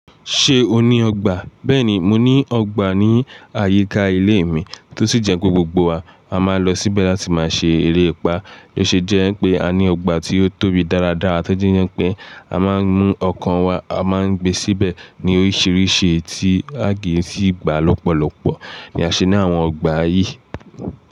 Ṣé o ní ọgbà? Bẹ́ẹ̀ni, mo ní ọgbà ní àyíká ilé mi tó sì jẹ́ pé gbogbo wa a máa ń lọ síbẹ̀ láti máa ṣe eré ìpá, bí ó ṣe jẹ́ pé a ní ọgbà tí ó tóbi dáradára tọ́ji Yẹ́ pé a máa ń mú ọkan wa, a máa ń gbé síbẹ̀ ní oríṣiríṣi tí a kì í sì gba lọ́pọ̀lọpọ̀ ni a ṣe ní àwọn ọgbà yìí.